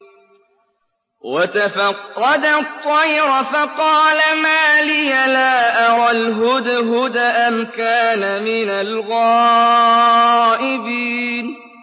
وَتَفَقَّدَ الطَّيْرَ فَقَالَ مَا لِيَ لَا أَرَى الْهُدْهُدَ أَمْ كَانَ مِنَ الْغَائِبِينَ